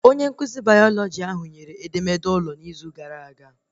Onye nkụzi bayalọjị ahụ nyere edemede ụlọ n'izu gara aga